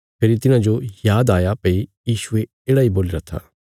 फेरी तिन्हाजो आद आया भई यीशुये येढ़ा इ बोलीराँ था